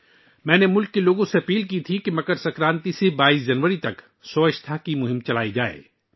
میں نے ملک کے لوگوں سے درخواست کی تھی کہ وہ مکر سنکرانتی سے 22 جنوری تک صفائی مہم چلائیں